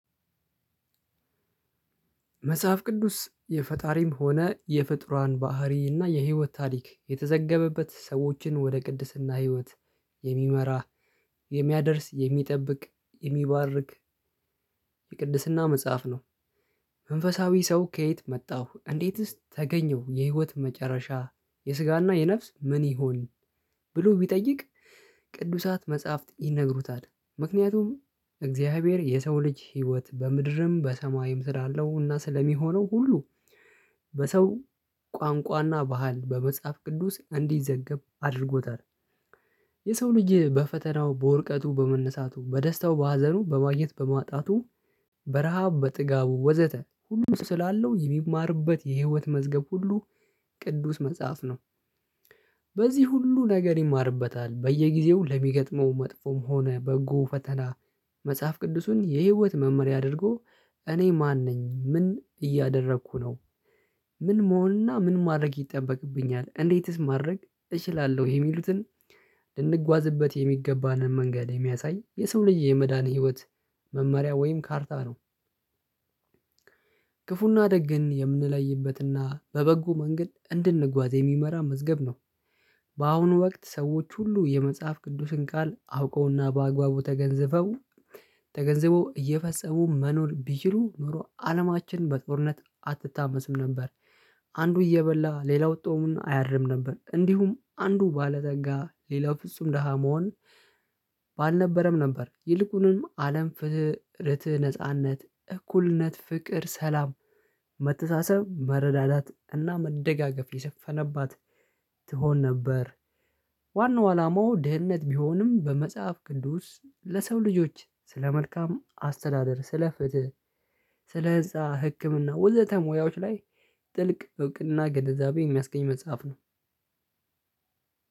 መጽሐፍ ቅዱስ የፈጣሪም ሆነ የፍጡራን ባህሪ እና የህይወት ታሪክ የተዘገበበት ሰዎችን ወደ ቅድስና ህይወት የሚመራ የሚያደርስ የሚጠብቅ የሚባርክ የቅድስና መጽሐፍ ነው። መንፈሳዊ ሰው ከየት መጣሁ እንዴትስ ተገኘሁ የህይወት መጨረሻ የስጋና የነፍስ ምን ይሁን ብሎ ቢጠይቅ ቅዱሳት መጽሐፍት ይነግሩታል ምክንያቱም እግዚአብሔር የሰው ልጅ ህይወት በምድርም በሰማይም ስላለው እና ስለሚሆነው ሁሉ። በሰው ቋንቋና ባህል በመጽሐፍ ቅዱስ እንዲዘገብ አድርጎታል። የሰው ልጅ በፈተናው በዉርቀቱ በመነሳቱ በደስታው በሀዘኑ በማግኘት በማጣቱ በረሃብ በጥጋቡ ወዘተ ሁሉ ስላለው የሚማርበት የህይወት መዝገብ ሁሉ ቅዱስ መጽሐፍ ነው። በዚህ ሁሉ ነገር ይማርበታል በየጊዜው ለሚገጥመው መጥፎም ሆነ በጎ ፈተና መጽሐፍ ቅዱሱን የህይወት መመሪያ አድርጎ እኔ ማን ነኝ ምን እያደረኩ ነው። ምን መሆንና ምን ማድረግ ይጠበቅብኛል እንዴትስ ማድረግ እችላለሁ የሚሉትን ልንጓዝበት የሚገባንን መንገድ የሚያሳይ የሰው ልጅ የመዳን ህይወት መመሪያ ወይም ካርታ ነው። ክፉና ደግ ግን የምንለይበትና በበጎ መንገድ እንድንጓዝ የሚመራ መዝገብ ነው። በአሁኑ ወቅት ሰዎች ሁሉ የመጽሐፍ ቅዱስን ቃል አውቀውና በአግባቡ ተገንዘበው እየፈጸሙ መኖር ቢችሉ ኖሮ አለማችን በጦርነት አትታመስም ነበር። አንዱ እየበላ ሌላው ፆሙን አያድርም ነበር እንዲሁም አንዱ ባለፀጋ ሌላው ፍጹም ደሃ መሆን ባልነበረም ነበር ይልቁንም አለም ፍትህ ነጻነት እኩልነት ፍቅር ሰላም መተሳሰብ መረዳዳት እና መደጋገፍ የሰፈነባት ትሆን ነበር። ዋናው አላማው ድህነት ቢሆንም በመጽሐፍ ቅዱስ ለሰው ልጆች ስለ መልካም አስተዳደር ስለ ፍትህ ህንፃ ህክምና ወዘተ ሙያዎች ላይ ጥልቅ እውቅና ግንዘብ የሚያስገኝ መጽሐፍ ነው።